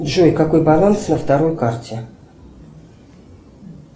джой какой баланс на второй карте